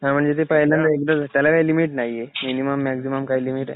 नाही म्हणजे ते फ़ाइनल एकदाच त्याला काही लिमिट नाहीये, मिनिमम मॅक्सिमम काही लिमिट आहे?